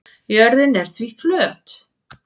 Jörðin er því flöt.